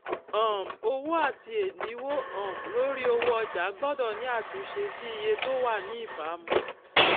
um owó àti èdínwó um lórí owó ọjà gbódò ní àtúnṣe sí iye tó wà ní ìbámu